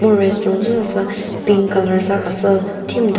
restaurant zü sasü pink colour za khasü thimta.